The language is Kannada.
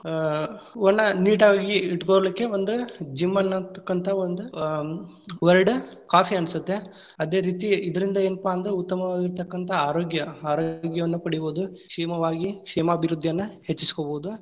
ಆ ಅವನ್ನಾ neat ಆಗಿ ಇಟ್ಟಕೊಳಿಕ್ಕೆ ಒಂದ್ gym ಅನ್ನತಕ್ಕಂತ ಒಂದ್ ಆ word खाफी ಅನ್ಸತ್ತೆ, ಅದೇ ರೀತಿ ಇದರಿಂದ ಏನ್ಪಾ ಅಂದ್ರ ಉತ್ತಮವಾಗಿರತಕ್ಕಂತಹ ಆರೋಗ್ಯ ಆರೋಗ್ಯವನ್ನು ಪಡಿಬಹುದು. ಕ್ಷೇಮವಾಗಿ ಕ್ಷೇಮಾಭಿವೃದ್ಧಿಯನ್ನು ಹೆಚ್ಚಿಸ್ಕೊಬಹುದು.